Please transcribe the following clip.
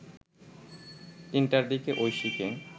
৩টার দিকে ঐশীকে